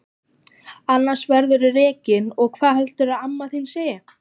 Annars verðurðu rekinn og hvað heldurðu að amma þín segi!